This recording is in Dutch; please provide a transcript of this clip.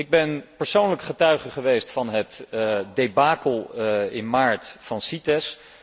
Ik ben persoonlijk getuige geweest van het debacle in maart van CITES.